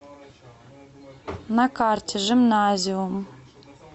на карте жимназиум